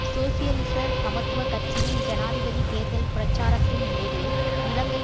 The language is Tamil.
சோசியலிச சமத்துவ கட்சியின் ஜனாதிபதி தேர்தல் பிரச்சாரத்தின் போது இலங்கை